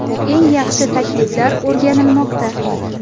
Eng yaxshi takliflar o‘rganilmoqda.